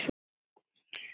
Örlög ráðin